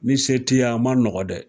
Ni se t'i y'a, a ma nɔgɔn dɛ